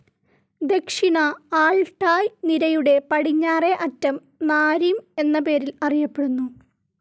ദക്ഷിണ ആൽട്ടായ്‌ നിരയുടെ പടിഞ്ഞാറേ അറ്റം നാരിം എന്ന പേരിൽ അറിയപ്പെടുന്നു.